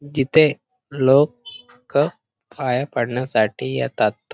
तिथे लोक क पाया पाडण्यासाठी येतात.